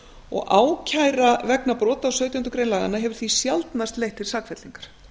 og ákæra vegna brota á sautjándu grein laganna hefur því sjaldnast leitt til sakfellingar